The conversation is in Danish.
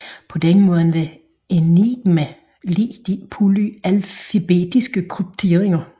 På den måde var Enigma lig de polyalfabetiske krypteringer